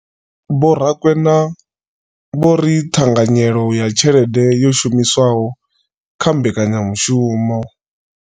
Vho Rakwena vho ri ṱhanganyelo ya tshelede yo shumiswaho kha mbekanyamushumo.